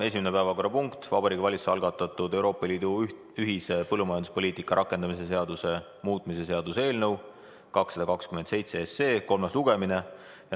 Esimene päevakorrapunkt: Vabariigi Valitsuse algatatud Euroopa Liidu ühise põllumajanduspoliitika rakendamise seaduse muutmise seaduse eelnõu 227 kolmas lugemine.